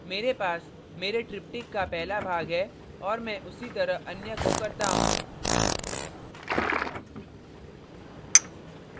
मेरे पास मेरे tryptychs का पहला भाग है और मैं उसी तरह अन्य को करता हूँ